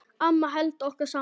Amma hélt okkur saman.